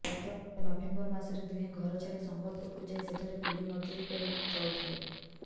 ଗତ ନଭେମ୍ବର ମାସରେ ଦୁହେଁ ଘର ଛାଡି ସମ୍ବଲପୁରକୁ ଯାଇ ସେଠାରେ କୁଲି ମଜୁରୀ କରି ଚଳୁଥିଲେ